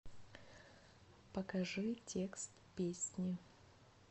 покажи текст песни